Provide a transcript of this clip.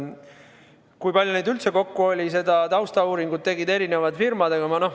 Kui palju neid üldse kokku oli – no seda taustauuringut tegid erinevad firmad.